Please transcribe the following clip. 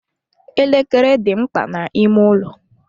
Elekere dị mkpa n'ime ụlọ.